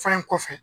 Fan kɔfɛ